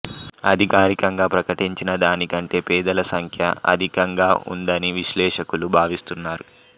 అధికారికంగా ప్రకటించినదానికంటే పేదల సంఖ్య అధికంగా ఉందని విశ్లేషకులు భావిస్తున్నారు